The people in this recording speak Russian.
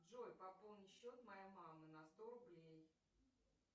джой пополни счет моей мамы на сто рублей